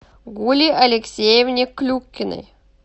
гуле алексеевне клюкиной